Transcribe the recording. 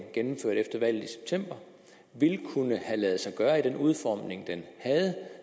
gennemførte efter valget i september ville kunne have ladet sig gøre i den udformning den havde